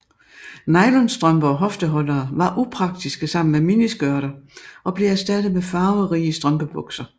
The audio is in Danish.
Nylonstrømper og hofteholdere var upraktiske sammen med miniskørter og blev erstattet med farverige strømpebukser